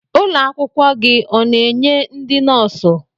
Ụlọ akwụkwọ gị ọ na-enye ndị nọọsụ?